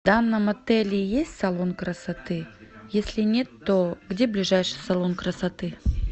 в данном отеле есть салон красоты если нет то где ближайший салон красоты